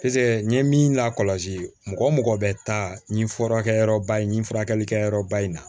Piseke n ye min lakɔlɔsi mɔgɔ mɔgɔ bɛ taa nin furakɛyɔrɔba in ni furakɛlikɛyɔrɔba in na